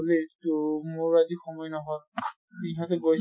বুলি, তহ মোৰ আজি সময় নহল। ইহঁতে গৈছে